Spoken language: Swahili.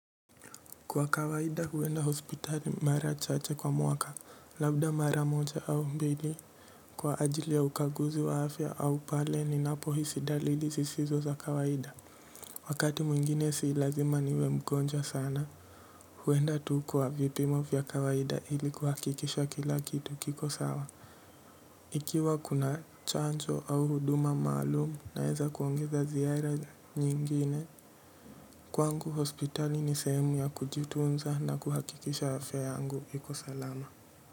Kwa kawaida huenda hospitali mara chache kwa mwaka labda mara moja au mbili kwa ajili ya ukaguzi wa afya au pale ni napo hisi dalili zisizo za kawaida wakati mwingine si lazima niwe mgonjwa sana huenda tu kwa vipimo vya kawaida ili kuhakikisha kila kitu kiko sawa ikiwa kuna chanjo au huduma maalum naweza kuongeza ziara nyingine. Kwangu hospitali ni sehemu ya kujitunza na kuhakikisha afya yangu iko salama.